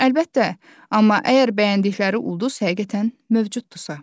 Əlbəttə, amma əgər bəyəndikləri ulduz həqiqətən mövcuddursa.